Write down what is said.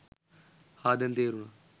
හා දැන් තේරුණා